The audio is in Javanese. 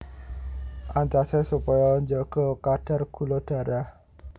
Ancasé supaya njaga kadar gula darah